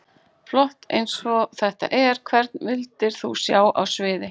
Flott eins og þetta er Hvern vildir þú sjá á sviði?